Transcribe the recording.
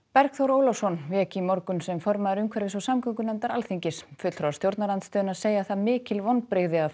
Bergþór Ólason vék í morgun sem formaður umhverfis og samgöngunefndar Alþingis fulltrúar stjórnarandstöðunnar segja það mikil vonbrigði að